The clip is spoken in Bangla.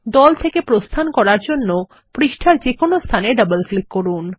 দল থেকে প্রস্থান করার জন্য পাতার যে কোনো স্থানে ডবল ক্লিক করুন